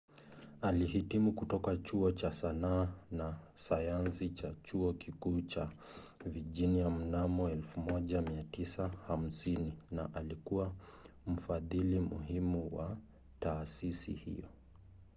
alihitimu kutoka chuo cha sanaa na sayansi cha chuo kikuu cha virginia mnamo 1950 na alikuwa mfadhili muhimu wa taasisi hiyo